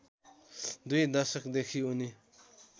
दुई दशकदेखि उनी